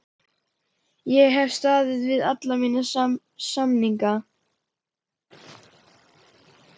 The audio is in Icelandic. Ég hef staðið við alla mína samninga.